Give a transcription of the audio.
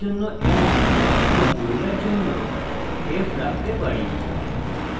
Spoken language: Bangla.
আমরা পুরুষের জন্য m এবং মহিলার জন্য f রাখতে পারি